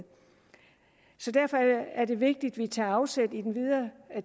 derfor er det vigtigt at vi tager afsæt i den videre